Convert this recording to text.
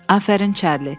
Afərin Çarli.